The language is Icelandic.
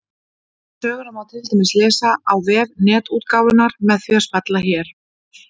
Söguna má til dæmis lesa á vef Netútgáfunnar með því að smella hér.